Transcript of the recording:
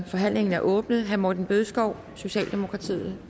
forhandlingen er åbnet herre morten bødskov socialdemokratiet